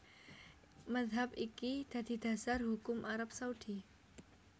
Mazhab iki dadi dasar hukum Arab Saudi